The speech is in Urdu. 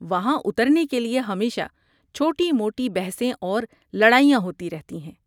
وہاں اترنے کے لیے ہمیشہ چھوٹی موٹی بحثیں اور لڑائیاں ہوتی رہتی ہیں۔